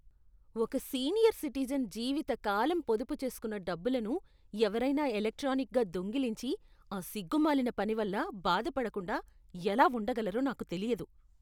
ఒక senior citizen జీవిత కాలం పొదుపు చేసుకున్న డబ్బులను ఎవరైనా ఎలక్ట్రానిక్గా దొంగిలించి, ఆ సిగ్గుమాలిన పని వల్ల బాధ పడకుండా ఎలా ఉండగలరో నాకు తెలియదు.